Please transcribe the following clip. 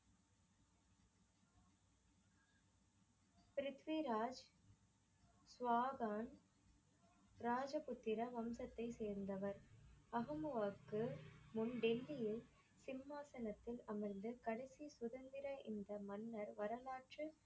ப்ரித்விராஜ் ஸ்வஹான் ராஜபுத்திர வம்சத்தை சேர்ந்தவர். அஹமு அக்பு முன் டெல்லியில் சிம்மாசனத்தில் அமர்ந்து கடைசி சுதந்திர இந்த மன்னர் வரலாற்று